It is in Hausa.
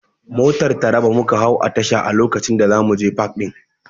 Motar Taraba muka hau a tasha a lokacin da zamuje pak ɗin